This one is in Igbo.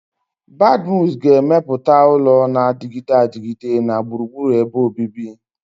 Badmus ga-emepụta ụlọ na-adịgide adịgide na gburugburu ebe obibi.